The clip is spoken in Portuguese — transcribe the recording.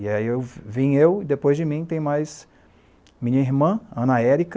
E aí eu vim eu e depois de mim tem mais minha irmã, Ana Erika,